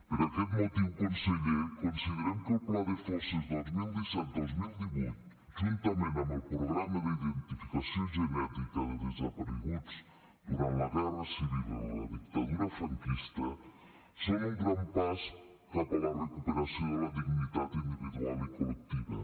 per aquest motiu conseller considerem que el pla de fosses dos mil disset dos mil divuit juntament amb el programa d’identificació genètica de desapareguts durant la guerra civil i la dictadura franquista són un gran pas cap a la recuperació de la dignitat individual i col·lectiva